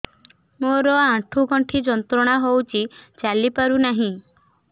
ମୋରୋ ଆଣ୍ଠୁଗଣ୍ଠି ଯନ୍ତ୍ରଣା ହଉଚି ଚାଲିପାରୁନାହିଁ